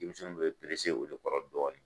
Denmisɛnw bɛ perese o de kɔrɔ dɔɔnin.